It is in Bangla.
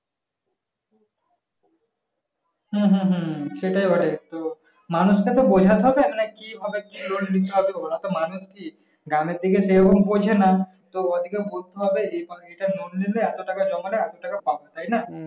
হুম হুম হুম সেটাই বটে তো মানুষটাকে বোঝাতে হবে নাকি কি ভাবে loan নিতে হবে মানুষ কি গ্রামের দিকে সেরকম বোঝে না তো ওদিকে বলতে হবে যে এভাবে loan নিলে এত টাকা জমা নাই এত টাকা কম নাই তাইনা